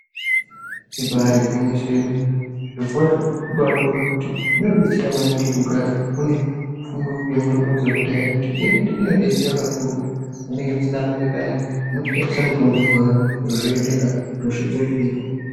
Ibairi gwinyiso yemene zviro kwazvo zvinotobai ona kuti zvino detsera maningi kuti mugare mune fundo ye mutombo ye kudhaya nekuti ino detsera kakurutu pamu nenge musina mari payani moto shandisa mutombo iyani zviro zvo endeka hosha dzo hinika.